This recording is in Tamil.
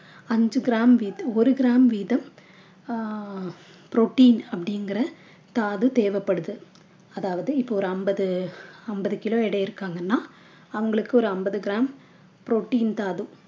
அஞ்சு gram வீத~ ஒரு gram வீதம் அஹ் protein அப்படிங்கற தாது தேவைபடுது அதாவது இப்ப ஒரு ஐம்பது ஐம்பது kilo எடை இருக்காங்கன்னா அவங்களுக்கு ஒரு ஐம்பது gram protein தாது